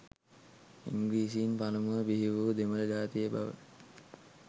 ඉංග්‍රීසීන් පළමුව බිහි වූ දෙමළ ජාතිය බව